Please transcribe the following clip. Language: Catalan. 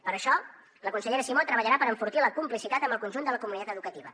per això la consellera simó treballarà per enfortir la complicitat amb el conjunt de la comunitat educativa